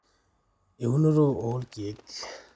eunoto oo ilkiek